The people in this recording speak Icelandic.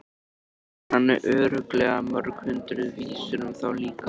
Hann kann örugglega mörg hundruð vísur um þá líka.